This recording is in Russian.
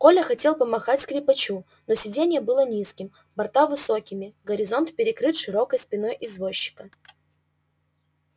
коля хотел помахать скрипачу но сиденье было низким борта высокими горизонт перекрыт широкой спиной извозчика